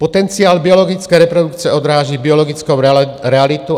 Potenciál biologické reprodukce odráží biologickou realitu.